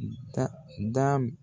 Da dab